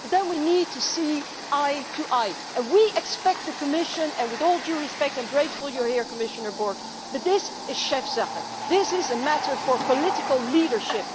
But then we need to see eye to eye, and we expect the Commission and with all due respect, and I am grateful you are here Commissioner Borg to make this Chefsache as this is a matter for political leadership.